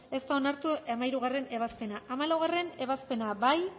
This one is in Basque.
ez da onartu hamairugarrena ebazpena hamalaugarrena ebazpena bozkatu